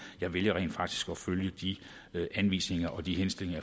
jeg vælger rent faktisk at følge de anvisninger og de henstillinger